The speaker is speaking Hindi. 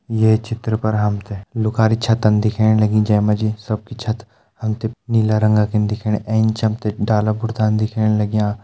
ये चित्र पर हम तें लुखारी छतन दिखेण लगीं जे मा जी सब की छत हम तें नीला रंगा की दिखेणी एंच हम तें डाला बुर्तान दिखेण लग्यां।